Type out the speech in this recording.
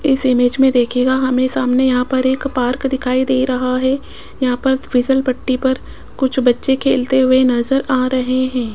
इस इमेज मे देखियेगा हमे सामने यहां पर एक पार्क दिखाई दे रहा है यहां पर फीसलपट्टी पर कुछ बच्चे खेलते हुए नजर आ रहे हैं।